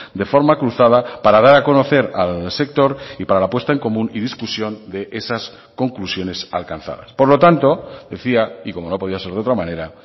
de forma cruzada para dar a conocer al sector y para la puesta en común y discusión de esas conclusiones alcanzadas por lo tanto decía y como no podía ser de otra manera